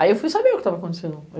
Aí eu fui saber o que estava acontecendo.